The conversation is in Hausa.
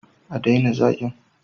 A daina zagin